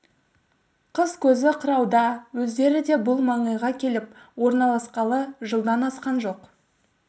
қыс көзі қырауда өздері де бұл маңайға келіп орналасқалы жылдан асқан жоқ